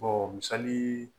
misali